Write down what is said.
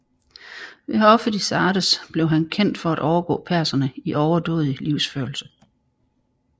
Ved hoffet i Sardes blev han kendt for at overgå perserne i overdådig livsførelse